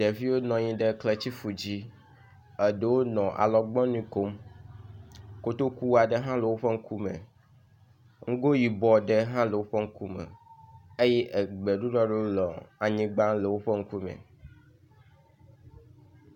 Ɖevio nɔ anyi ɖe kletifu dzi. Eɖewo nɔ alɔgbɔnui kom. Kotoku aɖe hã le woƒe ŋkume. Ŋgo yibɔ aɖe hã le woƒe ŋkume eye egbeɖuɖɔ ɖewo e anyigba le woƒe ŋkume.